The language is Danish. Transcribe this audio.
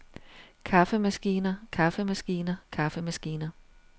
kaffemaskiner kaffemaskiner kaffemaskiner